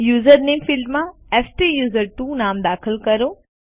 user નામે ફિલ્ડમાં સ્ટુસર્ટવો નામ દાખલ કરો